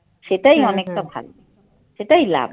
সেটাই ভাল সেটাই লাভ ।